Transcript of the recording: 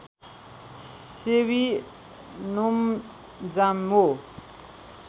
सेवी नोम्जामो